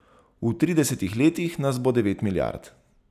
V tridesetih letih nas bo devet milijard.